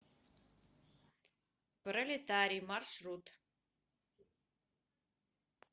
пролетарий маршрут